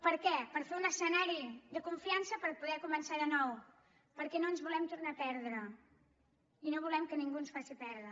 per què per fer un escenari de confiança per poder començar de nou perquè no ens volem tornar a perdre i no volem que ningú ens faci perdre